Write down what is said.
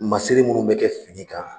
Masiri munnu be kɛ fini kan